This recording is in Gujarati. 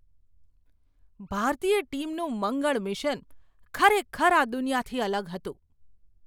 ભારતીય ટીમનું મંગળ મિશન ખરેખર આ દુનિયાથી અલગ હતું!